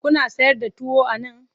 Kuna sayar da tuwo a nan?